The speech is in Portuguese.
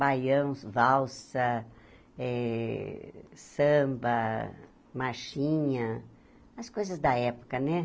Baião, valsa, eh samba, marchinha, as coisas da época, né?